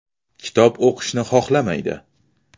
Kitob o‘qishni xohlamaydi.